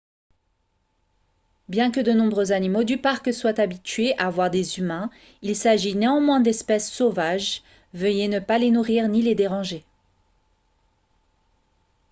bien que de nombreux animaux du parc soient habitués à voir des humains il s'agit néanmoins d'espèces sauvages veuillez ne pas les nourrir ni les déranger